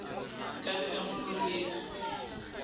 ka be a mo lohetse